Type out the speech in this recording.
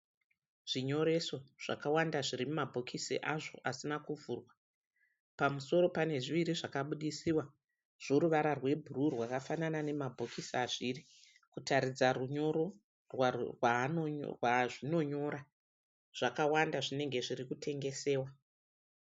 Zvinyoreso zvakawanda zviri mumabhokisi azvo asina kuvhurwa. Pamusoro pane pane zviviri zvakabudisiwa zvoruvara rwebhuruu, rwakafanana nemabhokisi azviri kutaridza runyoro rwazvinonyora. Zvakawanda zvinenge zviri kutengesewa.